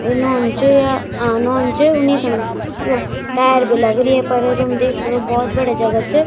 यु नोन च या अ नोन च उनिखण यो टायर भी लगरी येफर तुम देख सक्दो भोत बढ़िया जगह च।